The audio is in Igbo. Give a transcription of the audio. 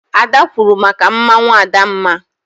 Ada kwuuru maka mmanwụ Adamma.